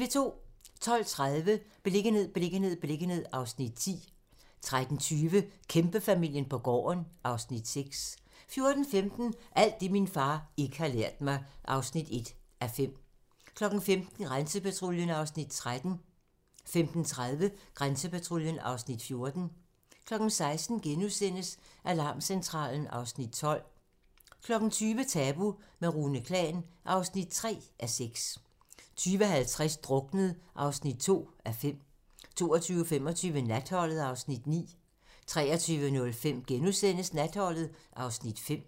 12:30: Beliggenhed, beliggenhed, beliggenhed (Afs. 10) 13:20: Kæmpefamilien på gården (Afs. 6) 14:15: Alt det, min far ikke har lært mig (1:5) 15:00: Grænsepatruljen (Afs. 13) 15:30: Grænsepatruljen (Afs. 14) 16:00: Alarmcentralen (Afs. 12)* 20:00: Tabu - med Rune Klan (3:6) 20:50: Druknet (2:5) 22:25: Natholdet (Afs. 9) 23:05: Natholdet (Afs. 5)*